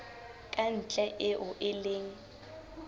ka ntle eo e leng